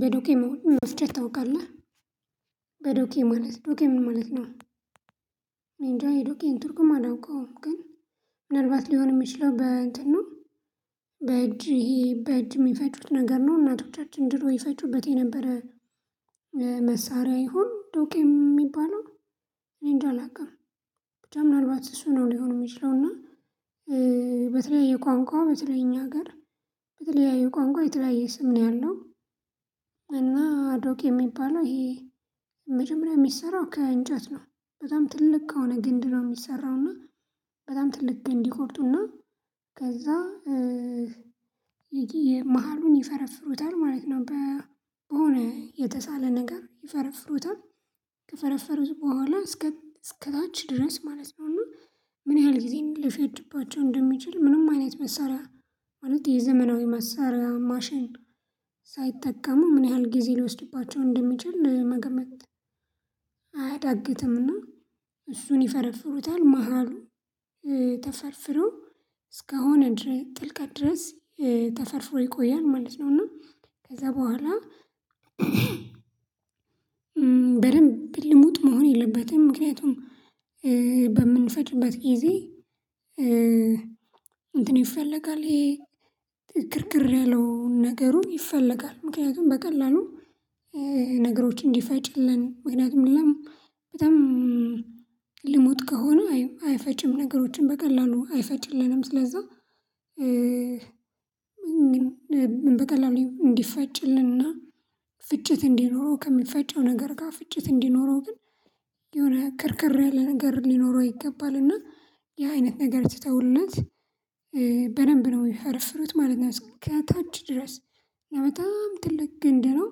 በዶኬ መፍጨት ታውቃለህ በዶኬ ማለት ዶኬ ምን ማለት ነው? እኔንጃ የዶኬን ትርጉም አላውቀውም ግን ምናልባት ሊሆን የሚችለው በእንት ነው። በእጅ ይሄ በእጅ የሚፈጩት ነገር ነው እናቶቻችን ድሮ ይፈጩበት የነበረ። መሳሪያ ይሁን ዶቄ የሚባለው እኔን እንጃ አላውቅም። ምናልባት እሱ ነው ሊሆን የሚችለው እና። ቋንቋው በተለይ እኛ ሀገር በተለያዩ ቋንቋው የተለያየ ስም ነው ያለው። እና ዶኬ የሚባለው ይሄ መጀመሪያ የሚሰራው ከእንጨት ነው። በጣም ትልቅ ከሆነ ግንድ ነው የሚሰራው እና በጣም ትልቅ ግንድ ይቆርጡና ከዛ መሃሉን ይፈረፍሩታል ማለት ነው። በሆነ የተሳለ ነገር ይፈረፍሩታል። ከፈረፈሩት በኋላ እስከ እስከታች ድረስ ማለት ነው እና። ምን ያህል ጊዜ ሊፈጅባቸው እንደሚችል ምንም አይነት መሳሪያ ማለት የዘመናዊ መሳሪያ ማሽን ሳይጠቀሙ ምን ያህል ጊዜ ሊወስዱባቸው እንደሚችል መገመት። አያዳግትምና እሱን ይፈረፍሩታል መሃሉ ተፈርፍረው እስከሆነች ጥልቀት ድረስ ተፈርፍሮ ይቆያል ማለት ነው። እና ከዛ በኋላ በደንብ ልሙጥ መሆን የለበትም። ምክንያቱም በምንፈጭበት ጊዜ እንትን ይፈለጋል ይሄ ግርግር ያለውን ነገሩን ይፈለጋል። ምክንያቱም በቀላሉ ነገሮች እንዲፈጭልን ምክንያቱም ሌላም በጣም ልሞት ከሆኑ አይፈጭም ነገሮችን በቀላሉ አይፈጭልንም ስለዛ። በቀላሉ እንዲፈጭልንና ፍጭት እንዲኖረው ከምፈጨው ነገር ጋር ፍጭት እንዲኖረው ግን የሆነ ክርክር ያለ ነገር ሊኖረው ይገባል። እና ያ አይነት ነገር ሲተውለት በደንብ ነው ሚፈረፍሩት ማለት ነው። እስከ ታች ድረስ በጣም ትልቅ ግንድ ነው።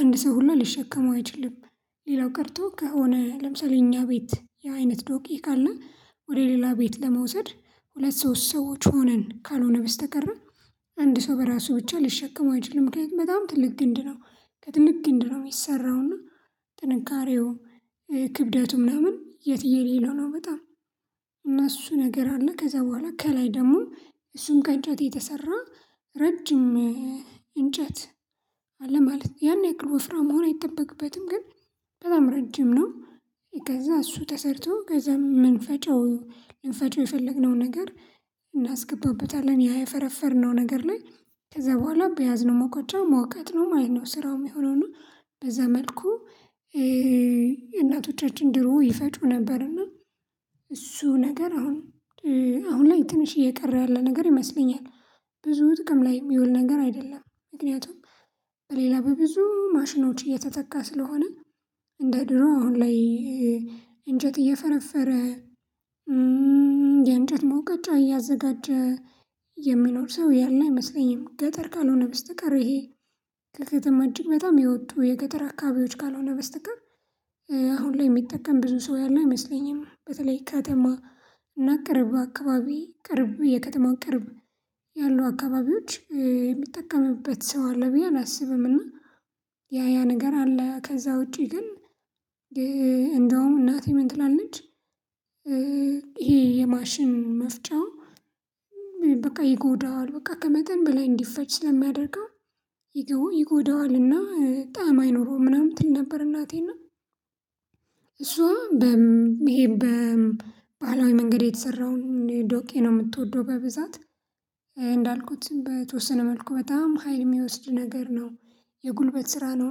አንድ ሰው ሁላ ሊሸከመው አይችልም። ሌላው ቀርቶ ከሆነ ለምሳሌ እኛ ቤት ያ አይነት ዶቂ ካለ ወደ ሌላ ቤት ለመውሰድ ሁለት ሶስት ሰዎች ሆነን ካልሆነ በስተቀር አንድ ሰው በራሱ ብቻ ሊሸከም አይችልም። ምክንያቱም በጣም ትልቅ ግንድ ነው ከትልቅ ግንድ ነው የሚሰራው እና ጥንካሬው ክብደቱ ምናምን የትዬንለሌ ነው። በጣም እና እሱ ነገር አለ ከዛ በኋላ ከላይ ደግሞ እሱን ከእንጨት የተሰራ ረጅም እንጨት አለ ማለት ያን ያክል ወፍራም መሆን አይጠበቅበትም። ግን በጣም ረጅም ነው። ከዛ እሱ ተሰርቶ ከዛ የምንፈጨው ልንፈጨው የፈለግነው ነገር እናስገባበታለን ያ የፈረፈርነው ነገር ላይ ከዛ በኋላ በያዝነው ሙቀጫ መውቀጥ ነው ማለት ነው ስራው የሚሆነው። እና በዛ መልኩ እናቶቻችን ድሮ ይፈጩ ነበርና እሱ ነገር አሁን አሁን ላይ ትንሽ እየቀረ ያለ ነገር ይመስለኛል። ብዙ ጥቅም ላይ የሚውል ነገር አይደለም ምክንያቱም በሌላ በብዙ ማሽኖች እየተተካ ስለሆነ። እንደ ድሮ አሁን ላይ እንጨት እየፈረፈረ የእንጨት መውቀጫ እያዘጋጀ የሚኖር ሰው ያለ አይመስለኝም። ገጠር ካልሆነ በስተቀር ይሄ ከከተማ እጅግ በጣም የወጡ የገጠር አካባቢዎች ካልሆነ በስተቀር። አሁን ላይ የሚጠቀም ብዙ ሰው ያለው አይመስለኝም። በተለይ ከተማ እና ቅርብ አካባቢ ቅርብ የከተማው ቅርብ ያሉ አካባቢዎች የሚጠቀምበት ሰው አለ ብዬ አላስብም። ያ ያ ነገር አለ ከዛ ውጪ ግን እንደውም እናቴ ምን ትላለች? ይሄ የማሽን መፍጫው በቃ ይጎዳዋል በቃ ከመጠን በላይ እንዲፈጭ ስለሚያደርገው ይጎዳዋልና ጣዕም አይኖረውም ምናምን ትል ነበር እናቴና። እሷ ይሄ በባህላዊ መንገድ የተሰራውን ዶቄ ነው የምትወደው በብዛት እንዳልኩት በተወሰነ መልኩ በጣም ሀይል የሚወስድ ነገር ነው። የጉልበት ስራ ነው።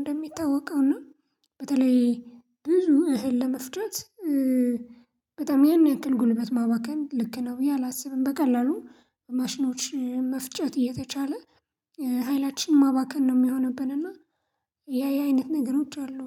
እንደሚታወቀው እና በተለይ ብዙ እህል ለመፍጨት በጣም ያን ያክል ጉልበት ማባከን ልክ ነው ብዬ አላስብም። በቀላሉ ማሽኖች መፍጨት እየተቻለ ኃይላችን ማባከን ነው የሚሆንብን እና። ያ ያ አይነት ነገሮች አሉ።